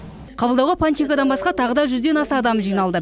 қабылдауға панченкодан басқа тағы да жүзден аса адам жиналды